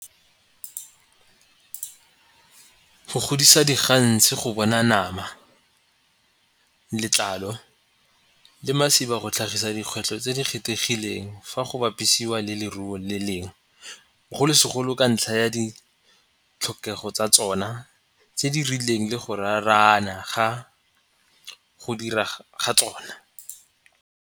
Go godisa diganse go bona nama, letlalo le masiba go tlhagisa dikgwetlho tse di kgethegileng fa go bapisiwa le leruo le lengwe bogolo segolo ka ntlha ya ditlhokego tsa tsona tse di rileng le go raarana ga go dira ga tsona.